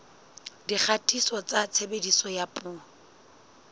dikgatiso tsa tshebediso ya dipuo